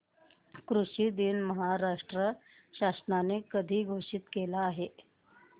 कृषि दिन महाराष्ट्र शासनाने कधी घोषित केला आहे